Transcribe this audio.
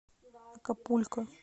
акапулько